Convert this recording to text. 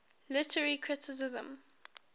literary criticism